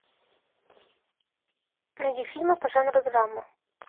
найди фильмы по жанру драма